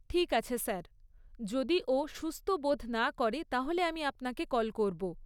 ঠিক আছে স্যার, যদি ও সুস্থ বোধ না করে তাহলে আমি আপনাকে কল করব।